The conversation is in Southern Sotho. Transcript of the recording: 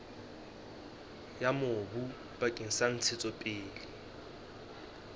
ya mobu bakeng sa ntshetsopele